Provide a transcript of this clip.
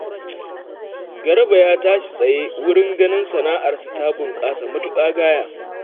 Garba ya tashi tsaye wurin ganin sana'arsa ta bunƙasa matuƙa gaya